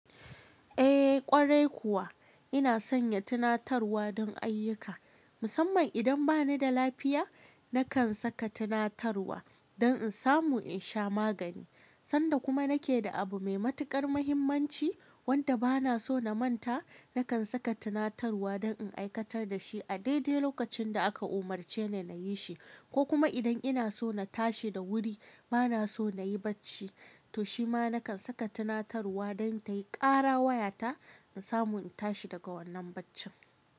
Eh ƙwarai kuwa ina sanya tunatarwa don ayyuka. Musamman idan bani da lafiya nakan saka tunatarwa don in samu in sha magani. Sanda kuma nake da abu mai matuƙar muhimmanci wanda bana so na manta nakan saka tunatarwa don in aikatar da shi a daidai lokacin da aka umarce ni na yi shi. Ko kuma idan ina so na tashi da wuri bana so na yi bacci to shima nakan saka tunatarwa don ta yi ƙara wayata in samu in tashi daga wannan baccin.